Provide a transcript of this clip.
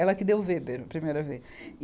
Ela que deu Weber a primeira vez.